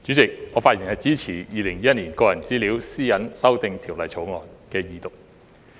代理主席，我發言支持《2021年個人資料條例草案》的二讀。